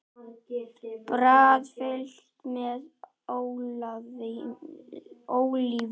Brauð fyllt með ólívum